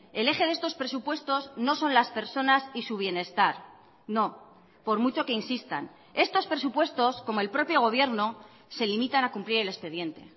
el eje de estos presupuestos no son las personas y su bienestar no por mucho que insistan estos presupuestos como el propio gobierno se limitan a cumplir el expediente